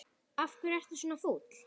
Af hverju ertu svona fúll?